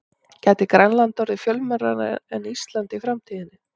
Gæti Grænland orðið fjölmennara en Ísland í framtíðinni?